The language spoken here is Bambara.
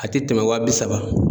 A tɛ tɛmɛ waa bi saba.